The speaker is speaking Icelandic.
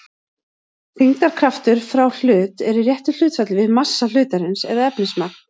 Þyngdarkraftur frá hlut er í réttu hlutfalli við massa hlutarins eða efnismagn.